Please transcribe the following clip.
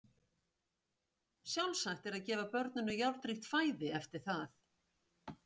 Sjálfsagt er að gefa börnum járnríkt fæði eftir það.